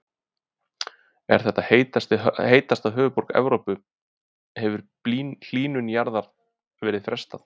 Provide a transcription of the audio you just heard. Ef þetta er heitasta höfuðborg Evrópu hefur hlýnun jarðar verið frestað.